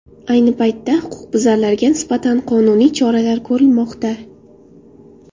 Ayni paytda huquqbuzarlarga nisbatan qonuniy choralar ko‘rilmoqda.